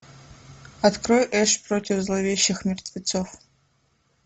открой эш против зловещих мертвецов